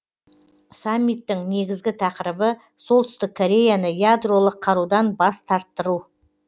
саммиттің негізгі тақырыбы солтүстік кореяны ядролық қарудан бас тарттыру